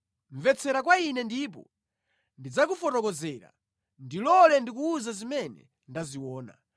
“Mvetsera kwa ine ndipo ndidzakufotokozera; ndilole ndikuwuze zimene ndaziona,